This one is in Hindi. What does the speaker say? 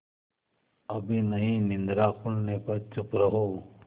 अभी नहीं निद्रा खुलने पर चुप रहो